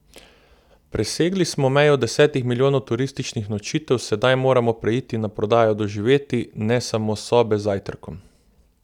Presegli smo mejo desetih milijonov turističnih nočitev, sedaj moramo preiti na prodajo doživetij, ne samo sobe z zajtrkom.